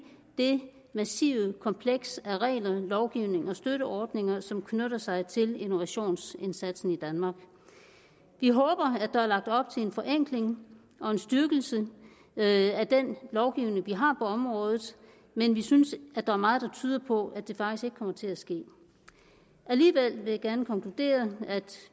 det massive kompleks af regler lovgivning og støtteordninger som knytter sig til innovationsindsatsen i danmark vi håber at der er lagt op til en forenkling og en styrkelse af den lovgivning vi har på området men vi synes at der er meget der tyder på at det faktisk ikke kommer til at ske alligevel vil jeg gerne konkludere at